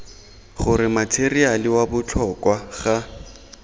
gore matheriale wa botlhokwa ga